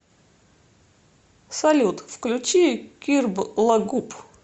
салют включи кирблагуп